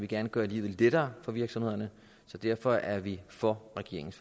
gerne gøre livet lettere for virksomhederne så derfor er vi for regeringens